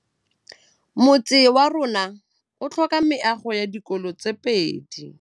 Motse warona o tlhoka meago ya dikolô tse pedi.